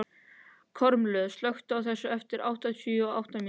Kormlöð, slökktu á þessu eftir áttatíu og átta mínútur.